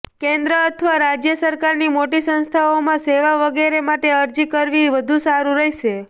કેન્દ્ર અથવા રાજ્ય સરકારની મોટી સંસ્થાઓમાં સેવા વગેરે માટે અરજી કરવી વધુ સારું રહેશે